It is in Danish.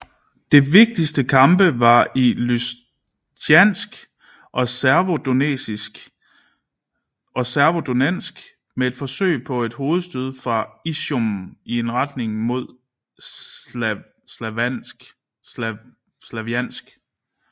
De vigtigste kampe var i Lysytjansk og Severodonetsk med et forsøg på et hovedstød fra Izjum i retning mod Slavjansk